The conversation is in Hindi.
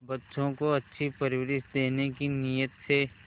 बच्चों को अच्छी परवरिश देने की नीयत से